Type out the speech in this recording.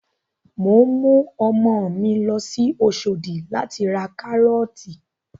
Mò ń mú ọmọ mi lọ sí Oṣòdì láti ra Kárọ́ọ̀tì